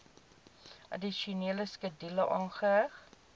addisionele skedule aangeheg